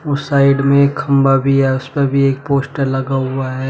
उस साइड में एक खंबा भी है उस पे भी एक पोस्टर लगा हुआ है।